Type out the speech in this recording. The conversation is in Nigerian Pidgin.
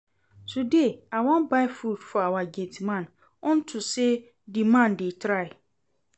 Today I wan buy food for our gate man unto say the man dey try